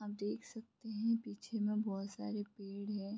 आप देख सकते हैं पीछे में बोहोत सारे पेड़ हैं।